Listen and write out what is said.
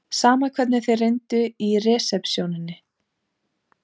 Sama hvernig þeir reyndu í resepsjóninni.